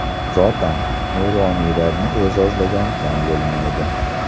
Zotan, nuroniylarni e’zozlagan kam bo‘lmaydi.